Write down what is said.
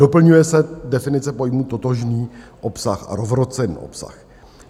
Doplňuje se definice pojmu "totožný obsah" a "rovnocenný obsah".